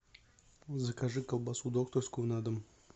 закажи колбасу докторскую на дом